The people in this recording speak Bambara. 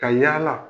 Ka yala